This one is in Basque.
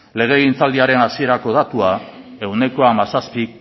legegintzaldiaren hasierako datua ehuneko hamazazpi